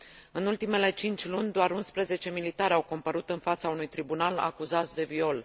În ultimele cinci luni, doar 11 militari au compărut în fața unui tribunal, acuzați de viol.